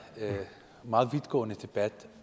meget vidtgående debat